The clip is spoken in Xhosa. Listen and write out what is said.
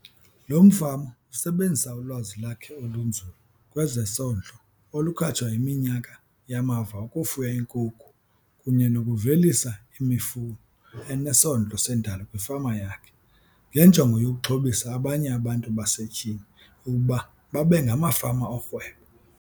Lo mfama usebenzisa ulwazi lwakhe olunzulu kwezesondlo olukhatshwa yiminyaka yamava ukufuya iinkukhu kunye nokuvelisa imifuno enesondlo sendalo kwifama yakhe, ngenjongo yokuxhobisa abanye abantu basetyhini ukuba babe ngamafama orhwebo.